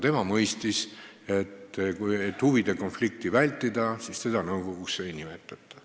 Tema mõistis, et selleks, et huvide konflikti vältida, teda nõukogusse ei nimetata.